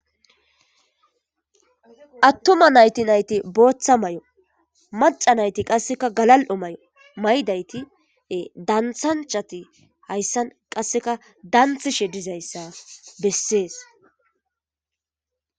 Atuma nayiti nayiti botha mayo macca nayiti qasekka galalio mayo mayidayiti daniththanichchati hayisani qasekka daniththishshe dizayisa besesi